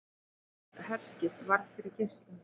Bandarískt herskip varð fyrir geislum